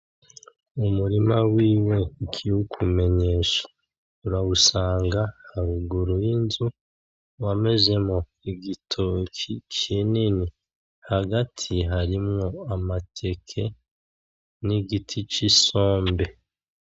Umurima wiwe ikiwumumenyesha urawusanga haruguru yinzu wamezemwo igitoki kinini hagati harimwo amateke nigiti c'isombe.